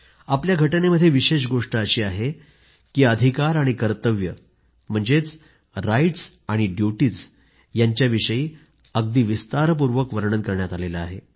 आपल्या राज्यघटनेमध्ये विशेष गोष्ट अशी आहे की अधिकार आणि कर्तव्य म्हणजेच राईटस् आणि ड्युटीज् यांच्याविषयी अगदी विस्तारपूर्वक वर्णन करण्यात आले आहे